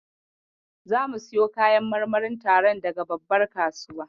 Zamu siyo kayan marmarin taron daga babbar kasuwa.